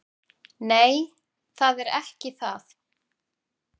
Nei, það er ekki það.